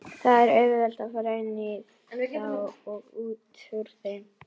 Það er auðvelt að fara inní þá og útúr þeim.